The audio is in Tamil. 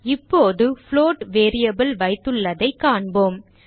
இப்போது புளோட் வேரியபிள் வைத்துள்ளதைக் காண்போம்